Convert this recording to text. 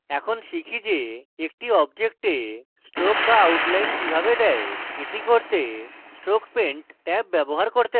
এখন শিখি যে একটি object stroke বা outline কিভাবে দেয় এটি করতে আমাদের stroke paint ট্যাব ব্যবহার করতে have